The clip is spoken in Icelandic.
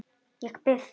Ég bíð þín.